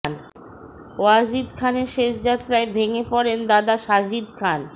ওয়াজিদ খানের শেষ যাত্রায় ভেঙে পড়েন দাদা সাজিদ খান